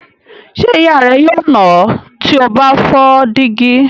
Ṣé ìyá rẹ yóò nà ọ́ tí o bá fọ́ dígí?